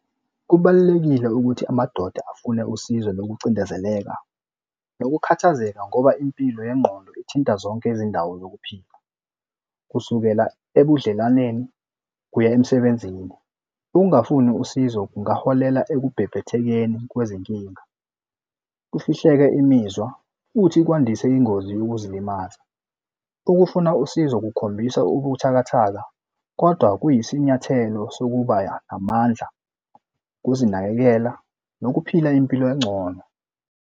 Kubalulekile ukuthi amadoda afune usizo lokucindezeleka nokukhathazeka ngoba impilo yengqondo ithinta zonke izindawo zokuphila kusukela ebudlelaneni kuya emsebenzini. Ukungafuni usizo kungaholela ekubhebhethekeni kwezinkinga, kufihleke imizwa futhi kwandise ingozi yokuzilimaza. Ukufuna usizo kukhombisa ubuthakathaka kodwa kuyisinyathelo sokuba amandla ukuzinakekela nokuphila impilo engcono.